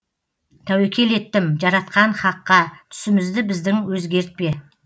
тәуекел еттім жаратқан хаққа түсімізді біздің өзгертпе